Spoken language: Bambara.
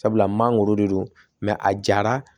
Sabula mangoro de don a jara